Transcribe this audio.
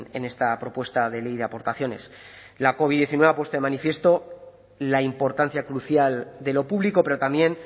en esta propuesta de ley de aportaciones la covid diecinueve ha puesto de manifiesto la importancia crucial de lo público pero también